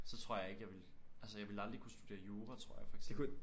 Så tror jeg ikke jeg ville altså jeg ville aldrig kunne studere jura tror jeg for eksempel